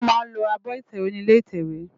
Wòn má lò ábò itèwé ni ilé itèwé